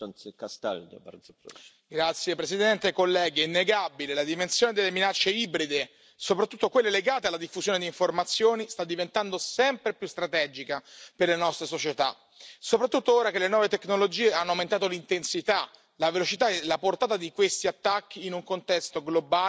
Signor Presidente, onorevoli colleghi, è innegabile che la dimensione delle minacce ibride, soprattutto quelle legate alla diffusione di informazioni, sta diventando sempre più strategica per le nostre società, soprattutto ora che le nuove tecnologie hanno aumentato l'intensità, la velocità e la portata di questi attacchi in un contesto globale